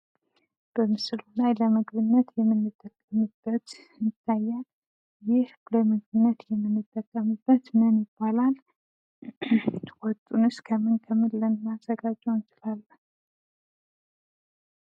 በምስሉ ላይ የምንመለከተው ለምግብነት የምንጠቀምበት ምን ይባላል? ይህንስ ከምን ከምን ልናዘጋጀው እንችላለን?